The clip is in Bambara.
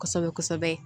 Kosɛbɛ kosɛbɛ